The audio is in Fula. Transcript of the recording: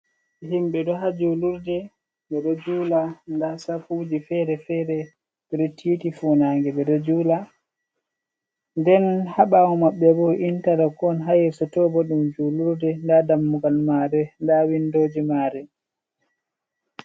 Himɓe ɗo ha julurde, ɓe ɗo jula. Nda safuji fere-fere, ɓe ɗo titi funage, ɓe ɗo jula. Nden ha ɓaawo maɓɓe bo intalok on, ha yeso to bo ɗum julurde. Nda dammugal maare, nda windoji maare.